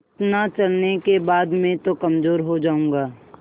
इतना चलने के बाद मैं तो कमज़ोर हो जाऊँगा